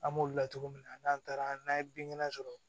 An b'olu latogo min na n'an taara n'a ye binkɛnɛ sɔrɔ